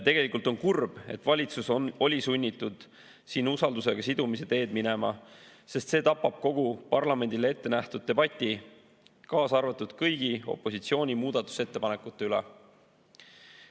Tegelikult on kurb, et valitsus oli sunnitud siin usaldusega sidumise teed minema, sest see tapab kogu parlamendile ette nähtud debati, kaasa arvatud kõigi opositsiooni muudatusettepanekute üle.